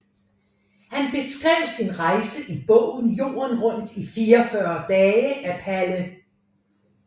Han beskrev sin rejse i bogen Jorden rundt i 44 Dage af Palle